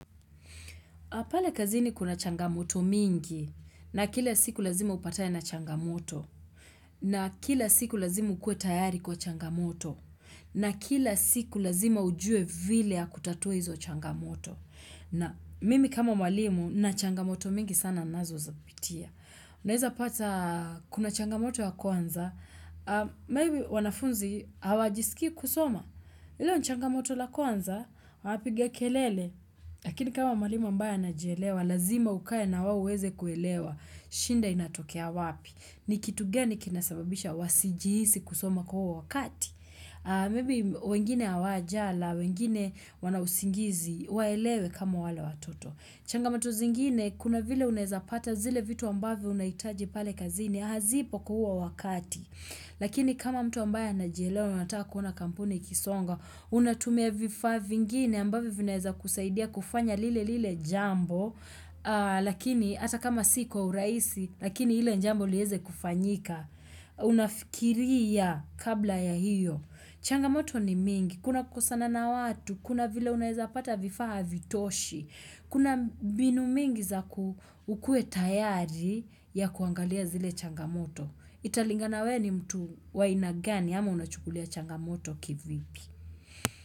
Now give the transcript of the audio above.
Pale kazini kuna changamoto mingi, na kila siku lazima upatane na changamoto, na kila siku lazima ukue tayari kwa changamoto, na kila siku lazima ujue vile ya kutatua hizo changamoto. Na mimi kama mwalimu nachangamoto mingi sana nazozapitia. Unaeza pata kuna changamoto ya kwanza, maybe wanafunzi hawajisiki kusoma. Hilo ni changamoto la kwanza, wapiga kelele. Lakini kama mwalimu ambaye anajielewa, lazima ukae na wao uweze kuelewa. Shinda inatokea wapi. Ni kitu gani kinasababisha wasijihisi kusoma kwa huo wakati. Maybe wengine hawajala, wengine wana usingizi, waelewe kama wale watoto. Changamato zingine, kuna vile unaeza pata zile vitu ambavyo unahitaji pale kazini. Hazipo ku huo wakati. Lakini kama mtu ambaye anajielewa na unata kuona kampuni ikisonga, unatumia vifa vingine ambavyo vinaeza kusaidia kufanya lile lile jambo, lakini hata kama si kwa urahisi, lakini ile jambo lieze kufanyika. Unafikiria kabla ya hiyo. Changamoto ni mingi, kuna kukosana na watu, kuna vile unaeza pata vifaa havitoshi, kuna binu mingi za ukue tayari ya kuangalia zile changamoto. Italinga na we ni mtu wa aina gani ama unachukulia changamoto kivipi.